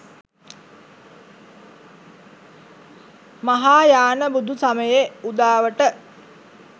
මහායාන බුදු සමයේ උදාවට